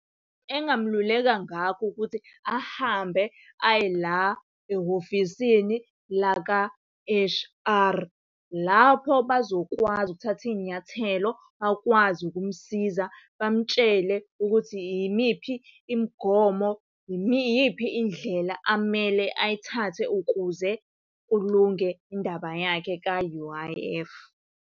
Engingamululeka ngakho ukuthi ahambe aye la ehhovisini laka-H_R. Lapho bazokwazi ukuthatha iy'nyathelo, bakwazi ukumsiza bamtshele ukuthi yimiphi imigomo iyiphi indlela amele ayithathe ukuze kulunge indaba yakhe ka-U_I_F.